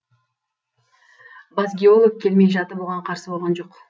бас геолог келмей жатып оған қарсы болған жоқ